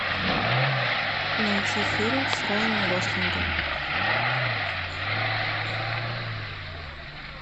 найти фильм с райаном гослингом